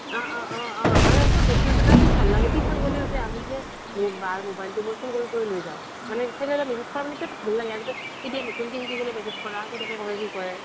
অহ অহ অহ অহ আৰু ইমান ভাল লাগে tuition গ'লেও আমি যে বাৰ মোবাইলটো মই চুৰ কৰি কৰি লৈ যাও মানে ভাল লাগে মানে তেতিয়া নতুনকে শিকিছিলো message কৰা কেনেকৈ কৰে কি কৰে